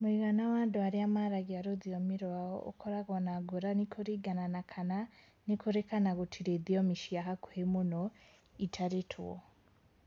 Mũigana wa andũ arĩa maragia rũthiomi rwao ũkoragwo na ngũrani kũringana na kana nĩ kũrĩ kana gutirĩ thiomi cia hakuhĩ mũno itarĩtwo.